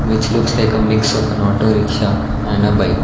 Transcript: its looks like a mix of an auto rickshaw and a bike.